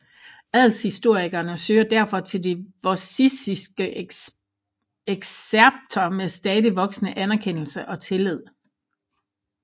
Adelshistorikerne søger derfor til de Vossiske Excerpter med stadig voksende anerkendelse og tillid